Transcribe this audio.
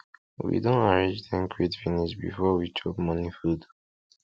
we don arrange ten crate finish before we chop morning food